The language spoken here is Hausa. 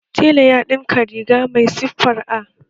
Tela ya ɗinka riga mai siffar A